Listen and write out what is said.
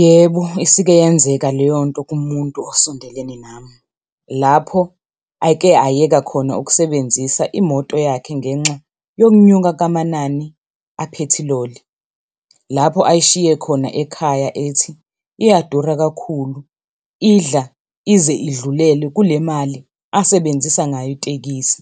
Yebo, isike yenzeka leyo nto kumuntu osondelene nami. Lapho ake ayeka khona ukusebenzisa imoto yakhe ngenxa yokunyuka kukamanani aphethiloli. Lapho ayishiye khona ekhaya ethi iyadura kakhulu, idla ize idlulele kule mali asebenzisa ngayo itekisi.